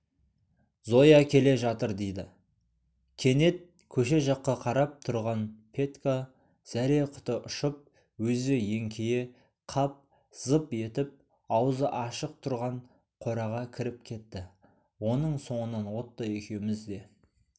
зоя келе жатыр деді кенет көше жаққа қарап тұрған петька зәре-құты ұшып өзі еңкейе қап зып етіп аузы ашық тұрған қораға кіріп кетті оның соңынан отто екеуміз де